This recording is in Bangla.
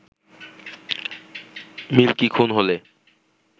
মিল্কি খুন হলে